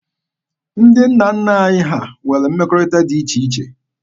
Ndị nna nna anyị ha nwere mmekọrịta dị iche iche.